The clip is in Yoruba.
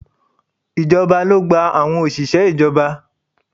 Ìjọba ló gba àwọn òṣìṣẹ́ ìjọba